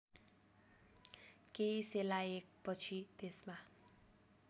केही सेलाएपछि त्यसमा